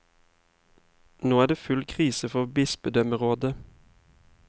Nå er det full krise for bispedømmerådet.